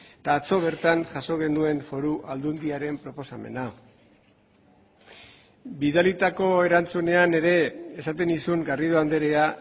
eta atzo bertan jaso genuen foru aldundiaren proposamena bidalitako erantzunean ere esaten nizun garrido andrea